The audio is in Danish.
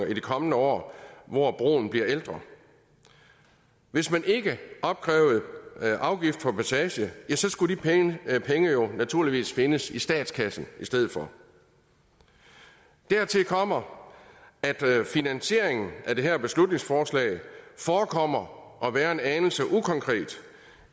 i de kommende år hvor broen bliver ældre hvis man ikke opkrævede afgift for passage skulle de penge penge jo naturligvis findes i statskassen i stedet for dertil kommer at finansieringen af det her beslutningsforslag forekommer at være en anelse ukonkret